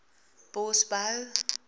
bosbou